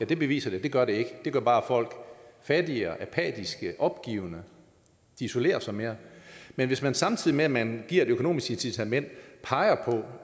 det bevist at det gør det ikke det gør bare folk fattigere apatiske opgivende de isolerer sig mere men hvis man samtidig med at man giver et økonomisk incitament peger på